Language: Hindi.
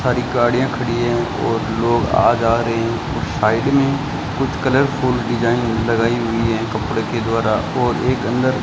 सारी गाड़ियां खड़ी हैं और लोग आ जा रहे हैं और साइड में कुछ कलरफुल डिजाइन लगाई हुई हैं कपड़े के द्वारा और एक अंदर --